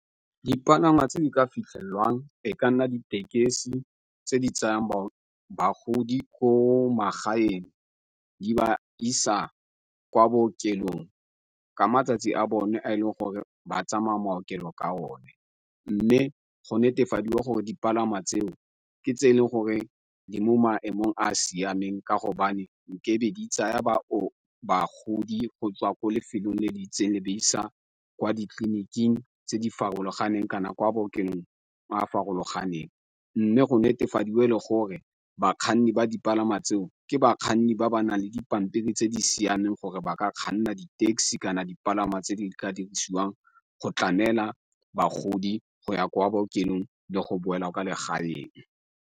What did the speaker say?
Dipalangwa tse di ka fitlhelwang e ka nna ditekesi tse di tsayang bagodi ko magaeng di ba isa kwa bookelong ka matsatsi a bone a e leng gore ba tsamaya maokelo ka o ne, mme go netefadiwa gore dipalangwa tseo ke tse e leng gore di mo maemong a a siameng ka go di tsaya bagodi go tswa ko lefelong le di itseng le ba isa kwa ditleliniking tse di farologaneng kana ko bookeng a a farologaneng mme go netefadiwe le gore bakganni ba dipalangwa tseo ke bakganni ba ba nang le dipampiri tse di siameng gore ba ka kganna di-taxi kana dipalangwa tse di ka dirisiwang go tlamela bagodi go ya kwa bookelong le go boela ka legaeng.